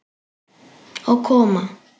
Og koma